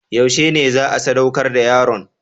Yaushe ne za a sadaukar da yaron?